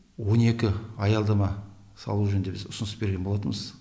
он екі аялдама салу жөнінде біз ұсыныс берген болатынбыз